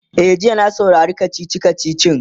e jiya na samu na saurari kachichi kachichin